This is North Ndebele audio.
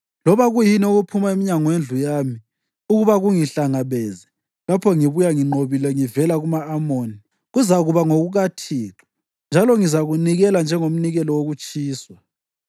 loba kuyini okuphuma emnyango wendlu yami ukuba kungihlangabeze lapho ngibuya nginqobile ngivela kuma-Amoni kuzakuba ngokukaThixo, njalo ngizakunikela njengomnikelo wokutshiswa.”